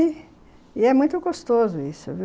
e é muito gostoso isso, viu?